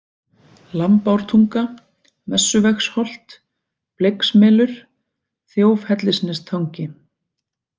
Lambártunga, Messuvegsholt, Bleiksmelur, Þjófhellisnestangi